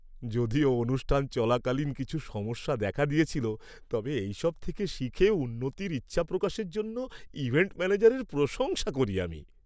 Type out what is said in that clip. যদিও অনুষ্ঠান চলাকালীন কিছু সমস্যা দেখা দিয়েছিল, তবে এইসব থেকে শিখে উন্নতির ইচ্ছাপ্রকাশের জন্য ইভেন্ট ম্যানেজারের প্রশংসা করি আমি।